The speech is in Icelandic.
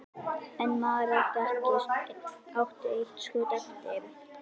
En maðurinn átti eitt skot eftir.